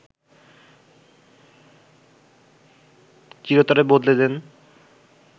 চিরতরে বদলে দেন